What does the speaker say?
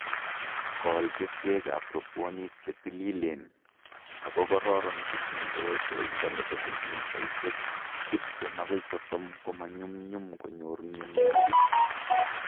Kol keswekab robwonik che tililen ako kororon che tindoi koindo nebo sentimitaishek tiptem agoi sosom ko manyumnyum konyor mienwokik